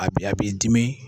A b'i dimi.